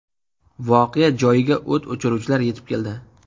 Voqea joyiga o‘t o‘chiruvchilar yetib keldi.